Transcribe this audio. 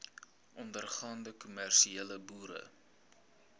ondergaande kommersiële boere